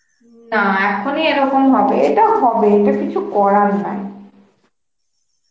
না এখনই এরম হবে এটা হবে কিছু করার নাই